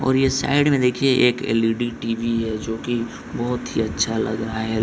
और ये साइड में देखिये एक एल.ई.डी. टी.वी. है जो की